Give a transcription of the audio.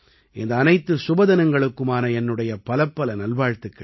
இந்த அனைத்து சுபதினங்களுக்குமான என்னுடைய பலப்பல நல்வாழ்த்துக்கள்